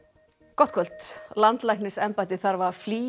gott kvöld landlæknisembættið þarf að flýja